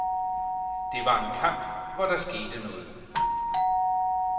Det var en kamp, hvor der skete noget.